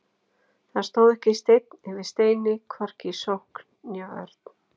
Það stóð ekki steinn yfir steini, hvorki í sókn né vörn.